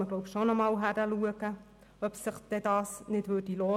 Man dürfte erneut hinschauen, ob sich dies nicht lohnen würde.